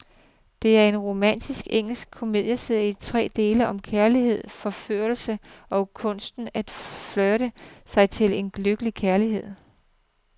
Det er en romantisk engelsk komedieserie i tre dele om kærlighed, forførelse og kunsten at flirte sig til et lykkeligt ægteskab.